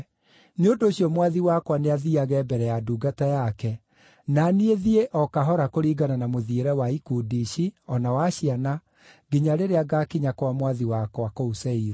Nĩ ũndũ ũcio mwathi wakwa nĩathiiage mbere ya ndungata yake, na niĩ thiĩ o kahora kũringana na mũthiĩre wa ikundi ici, o na wa ciana, nginya rĩrĩa ngaakinya kwa mwathi wakwa kũu Seiru.”